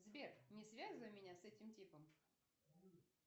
сбер не связывай меня с этим типом